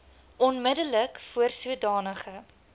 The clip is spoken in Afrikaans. onmiddellik voor sodanige